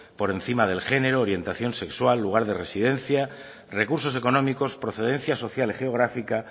por encima del género orientación sexual lugar de residencia recursos económicos procedencia social y geográfica